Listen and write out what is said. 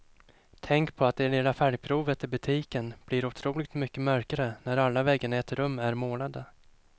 Tänk på att det lilla färgprovet i butiken blir otroligt mycket mörkare när alla väggarna i ett rum är målade.